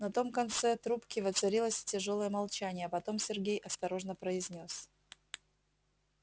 на том конце трубке воцарилось тяжёлое молчание а потом сергей осторожно произнёс